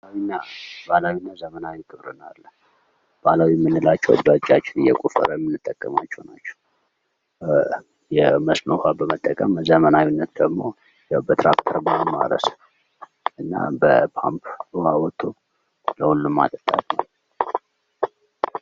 ግብርና ባህላዊና ዘመናዊ ግብርና አለ። ባህላዊ የምንላቸው በጃችን እየቆፈረን ምን ይጠቀማቸው ናቸው መስኖ ውሃን በመጠቀም ዘመናዊነት ደግሞ በክራክተር በማስረስ እና በፓምፕ አውጥቶ ለሁሉም ማጠጣት።